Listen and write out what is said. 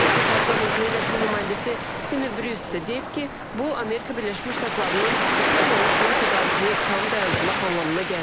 Dövlət Departamentinin rəsmi nümayəndəsi Timi Bruce deyib ki, bu, Amerika Birləşmiş Ştatlarının Ukraynaya silah tədarükünü tam dayandırmaq anlamına gəlmir.